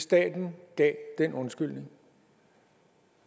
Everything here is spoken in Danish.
staten gav den undskyldning